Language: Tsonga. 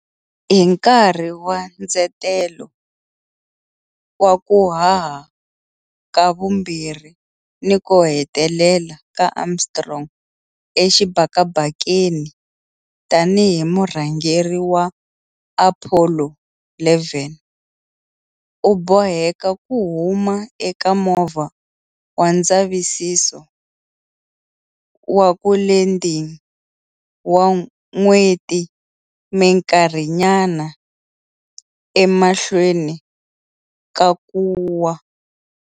Hi nkarhi wa ndzetelo wa ku haha ka vumbirhi ni ko hetelela ka Armstrong exibakabakeni tanihi murhangeri wa Apollo 11, u boheke ku huma eka Movha wa Ndzavisiso wa ku Landing wa N'weti minkarhinyana emahlweni ka ku wa.